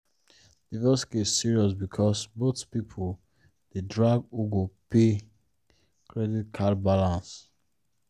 divorce case serious because both people dey drag who go pay credit card balance.